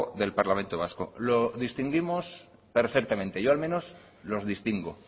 del parlamento vasco lo distinguimos perfectamente yo al menos los distingo